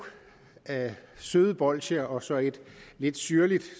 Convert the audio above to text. søde bolsjer og så et lidt syrligt